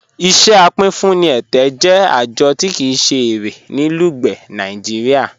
Iṣẹ apínfúnì ẹtẹ jẹ ajọ̀ tí kíi se ẹ̀rẹ̀ ní Lugbe, Nàìjíríà.